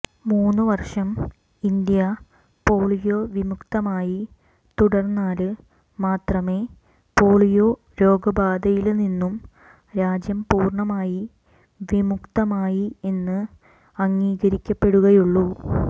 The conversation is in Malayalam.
മൂന്നുവര്ഷം ഇന്ത്യ പോളിയോ വിമുക്തമായി തുടര്ന്നാല് മാത്രമേ പോളിയോ രോഗബാധയില്നിന്നും രാജ്യം പൂര്ണമായി വിമുക്തമായി എന്ന് അംഗീകരിക്കപ്പെടുകയുള്ളൂ